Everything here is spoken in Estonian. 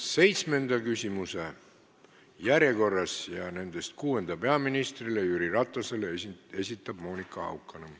Seitsmenda küsimuse, kusjuures kuuenda küsimuse peaminister Jüri Ratasele esitab Monika Haukanõmm.